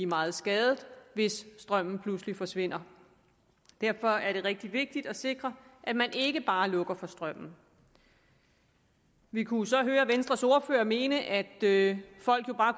meget skade hvis strømmen pludselig forsvinder derfor er det rigtig vigtigt at sikre at man ikke bare lukker for strømmen vi kunne jo så høre venstres ordfører mene at folk bare